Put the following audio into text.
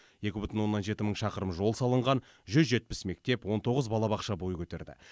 екі бүтін оннан жеті мың шақырым жол салынған жүз жетпіс мектеп он тоғыз балабақша бой көтерді